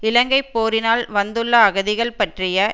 இலங்கை போரினால் வந்துள்ள அகதிகள் பற்றிய